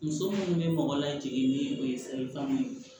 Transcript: Muso minnu bɛ mɔgɔ lajigin ni o ye salikan ye